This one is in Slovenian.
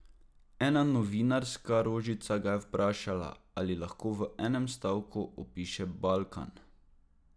Ena novinarska rožica ga je vprašala, ali lahko v enem stavku opiše Balkan.